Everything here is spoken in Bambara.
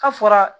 Ka fɔra